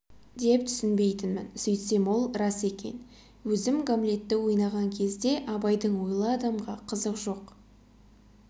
деп түсінбейтінмін сөйтсем ол рас сөз екен өзім гамлетті ойнаған кезде абайдың ойлы адамға қызық жоқ